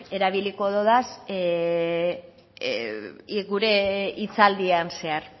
erabiliko dodaz gure hitzaldian zehar